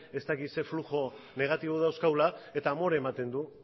ez dakit zer fluxu negatibo dauzkagula eta amore ematen du